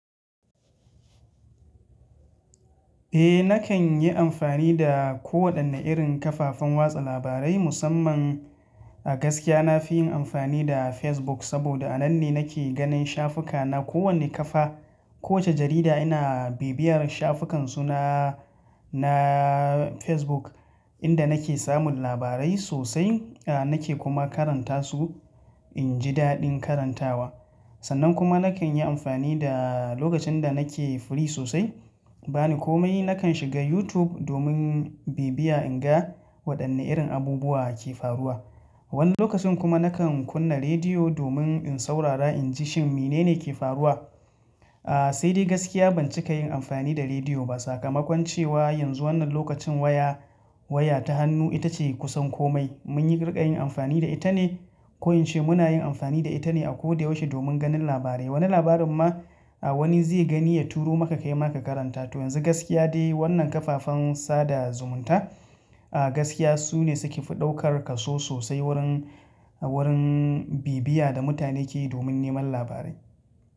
Eh nakan yi amfani da ko wanda irin kafafen watsa labarai musamman a gaskiya nafi yin amfani da Facebook saboda a nan ne nake ganin shafuka na kowane kafa. Kowace jarida ina bibiyar shafukan su na, na Facebook inda nake samun labarai sosai. Aa nake kuma karanta su, inji daɗin karantawa. Sannan kuma nakan yi amfani da lokacin da nake free sosai. Bani komai nakan shiga YouTube domin bibiya in ga waɗanne irin abubuwa ake faruwa. Wani lokacin kuma nakan kunna rediyo domin in saurara inji shin mene ne ke faruwa. Aa sai dai gaskiya ban cika yin amfani da rediyo ba sakamakon cewa yanzu wannan lokacin waya, waya ta hannu ita ce kusan komai mun yi rika yin amfani da ita ne. Ko in ce muna yin amfani da ita ne a ko da yaushe domin ganin labarai. Wani labarin ma a wani zai gani ya turo maka kai maka karanta ta. Yanzu gaskiya dai wannan kafafen sada zumunta a gaskiya su ne suke fi ɗaukar kaso sosai wurin, wurin bibiya da mutane ke yi domin neman labarai.